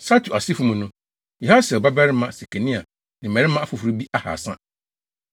Satu asefo mu no: Yahasiel babarima Sekania ne mmarima afoforo bi ahaasa.